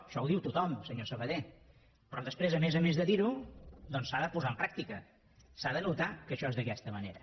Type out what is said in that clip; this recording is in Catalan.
això ho diu tothom senyor sabaté però després a més a més de dir ho doncs s’ha de posar en pràctica s’ha de notar que això és d’aquesta manera